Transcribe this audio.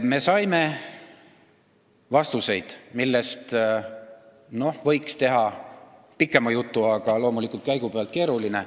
Me saime vastuseid, millest võiks teha pikema jutu, aga loomulikult on see käigupealt keeruline.